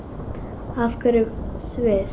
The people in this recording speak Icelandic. Af hverju Sviss?